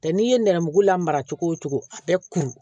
Tɛ n'i ye nɛrɛmuguma mara cogo o cogo a bɛ kuru